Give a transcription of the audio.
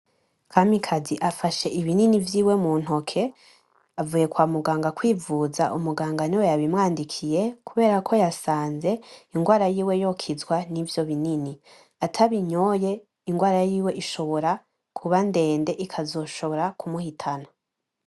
Kamikazi afashe ibinini vyiwe muntoke avuye kwamuganga kwivuza, umuganga niwe wabimwandikiye kuberako yasanze ingwara yiwe yokizwa nivyo binini atabinyoye ingwara yiwe ishobora kuba ndende ikazoshobora kumuhita